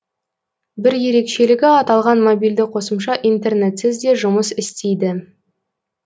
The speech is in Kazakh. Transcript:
бір ерекшелігі аталған мобильді қосымша интернетсіз де жұмыс істейді